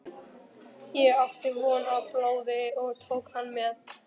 Ég átti von á blóði og tók hann með.